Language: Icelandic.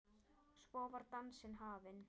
Svo var dansinn hafinn.